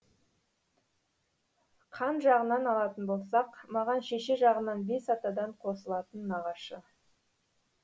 қан жағынан алатын болсақ маған шеше жағынан бес атадан қосылатын нағашы